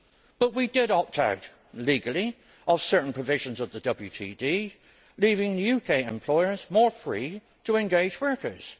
But we did opt out legally of certain provisions of the WTD, leaving UK employers more free to employ workers.